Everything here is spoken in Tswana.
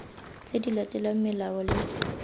tse di latelang melao le